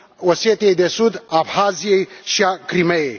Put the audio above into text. Osetiei de Sud, Abhaziei și a Crimeii.